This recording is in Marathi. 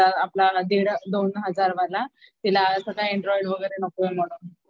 आपला दीड दोन हजारवाला अँड्रॉइड वगैरे नकोये म्हणून.